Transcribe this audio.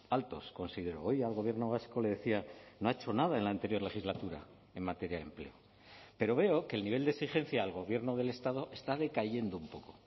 altos considero hoy al gobierno vasco le decía no ha hecho nada en la anterior legislatura en materia de empleo pero veo que el nivel de exigencia al gobierno del estado está decayendo un poco